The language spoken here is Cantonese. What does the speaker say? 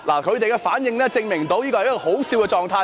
他們的反應證明這是可笑的狀態。